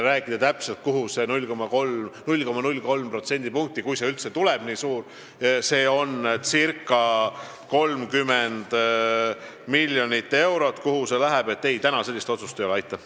Seda, kuhu täpselt läheb 0,03% – kui see üldse tuleb nii suur, see teeb circa 30 miljonit eurot –, ma praegu veel öelda ei saa, sest otsust veel ei ole.